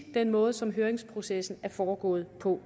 den måde som høringsprocessen er foregået på